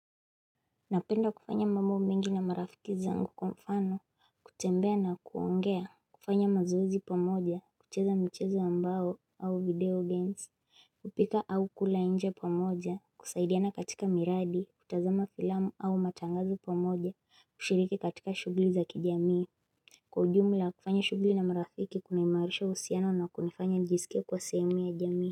Napenda kufanya mambo mengi na marafiki zangu kwa mfano, kutembea na kuongea, kufanya mazoezi pamoja, kucheza mchezo ambao au video games, kupika au kula nje pamoja, kusaidiana katika miradi, kutazama filamu au matangazo pamoja, kushiriki katika shugli za kijamii. Kwa ujumla, kufanya shughuli na marafiki kunaimarisha usiano na kunifanya njisikia kwa sehemu ya jamii.